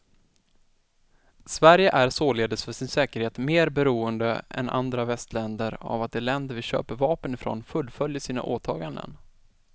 Sverige är således för sin säkerhet mer beroende än andra västländer av att de länder vi köper vapen ifrån fullföljer sina åtaganden.